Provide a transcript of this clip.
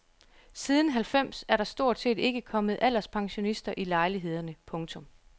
Siden halvfems er der stort set ikke kommet alderspensionister i lejlighederne. punktum